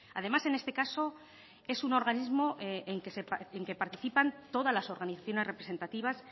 además en este caso es un organismo en que participan todas las organizaciones representativas